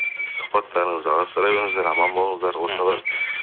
сұхбаттарыңызды жалғастыра беріңіздер аман болыңыздар мхм